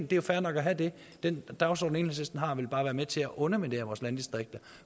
det er fair nok at have den dagsorden enhedslisten har vil bare være med til at underminere vores landdistrikter